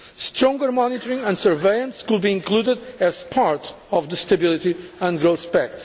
Stronger monitoring and surveillance could be included as part of the Stability and Growth Pact.